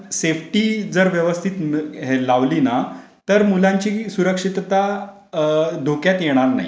Safety जर व्यवस्थित जर लावली ना तर मुलांची सुरक्षितता धोक्यात येणार नाही.